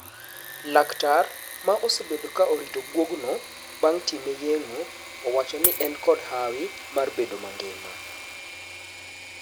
Laktar ma osebedo ka orito guogno bang' time yeng'o owachoni en kod hawi mar bedo mangima.